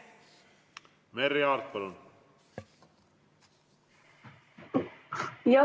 Merry Aart, palun!